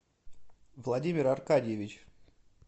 владимир аркадьевич